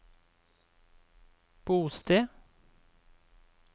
bosted